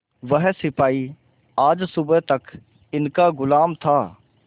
वह सिपाही आज सुबह तक इनका गुलाम था